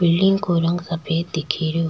Building को रंग सफ़ेद दिखी रियो।